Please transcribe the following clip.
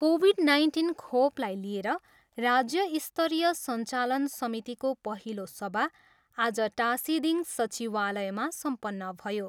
Covid nineteen खोपलाई लिएर राज्य स्तरीय सञ्चालन समितिको पहिलो सभा आज टासिदिङ सचिवालयमा सम्पन्न भयो।